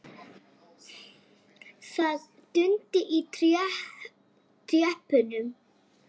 Það dundi í trétröppunum.